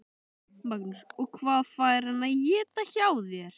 Magnús: Og hvað fær hann að éta hjá þér?